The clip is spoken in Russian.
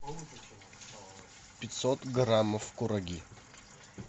пятьсот граммов кураги